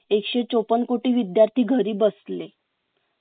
एकशे चौपन्न कोटी विद्यार्थी घरी बसले